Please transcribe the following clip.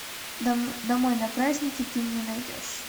домой на праздники ты мне найдешь